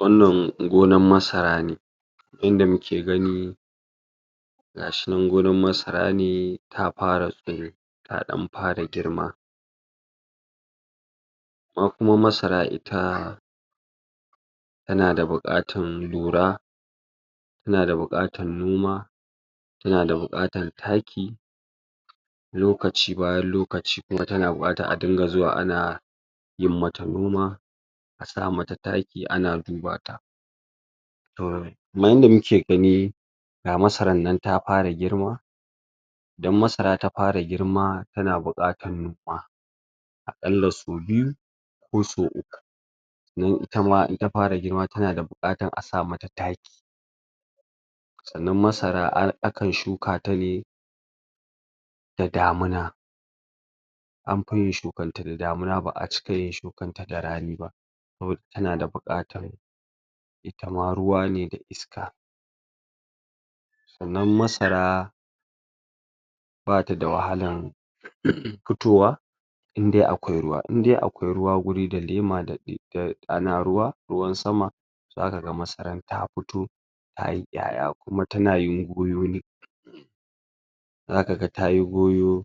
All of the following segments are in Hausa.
wannan gonan masara ne inda muke gani gashinan gonan masara ne ta para tsiro ta ɗan para girma amma kuma masara ita tana da buƙatan lura tana da buƙatan noma tana da buƙatan taki lokaci bayan lokaci kuma tana buƙatan a dinga zuwa ana yin mata noma a sa mata taki ana duba ta? kaman yanda muke gani ga masaran nan ta para girma idan masara ta para girma tana buƙatan noma aƙalla sau biyu ko sau uku sannan itama in ta para girma tana da buƙatan a sa mata taki sannan masara a akan shuka ta ne da damina an pi yin shukanta da damina ba'a yin shukanta da rani ba? tana da buƙatan itama ruwa ne da iska sannan masara bata da wahalan um pitowa in dai akwai ruwa in dai akwai ruwa guri da lema da ɗim ana ruwa ruwan sama zaka ga masaran ta puto tayi ƴaƴa kuma tana yin goyo ne zaka ga tayi goyo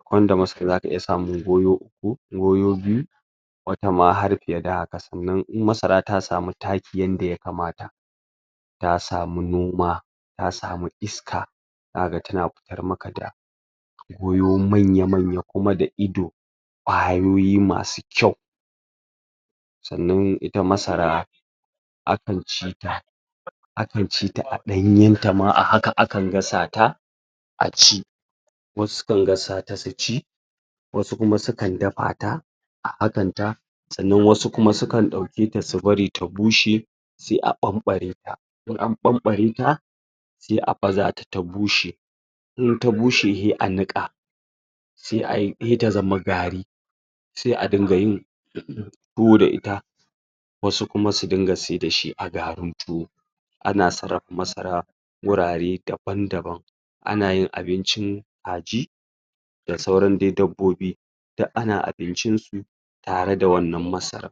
akwai inda masara zaka iya samun goyo uku goyo biyu wata har piye da haka sannan in masara ta samu taki yanda yakamata ta samu noma ta samu iska zaka ga tana pitar maka da goyo manya manya kuma da ido ƙwayoyi masu kyau sannan ita masara akan ci ta akan ci ta a ɗanyen ta ma a haka akan gasata a ci wasu su kan gasata su ci wasu kuma su kan dapa ta a hakan ta sannan wasu kuma su kan ɗauke ta su bari ta bushe se a ɓanɓareta in an ɓanɓareta e a bazata ta bushe in ta bushe he a niƙa sai ai he ta zama gari se a dinga yin? tuwo da ita wasu kuma su dinga sai da shi a garin tuwo ana sarrapa masara wurare daban daban ana yin abincin kaji da sauran de dabbobi duk ana abincinsu tare da wannan masaran